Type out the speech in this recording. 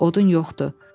Odun yoxdur.